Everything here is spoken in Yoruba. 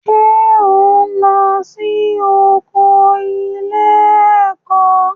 Ṣé ò ń lọ sí oko ilé-ẹ̀kọ́?